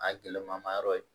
A gɛlɛma ma yɔrɔ ye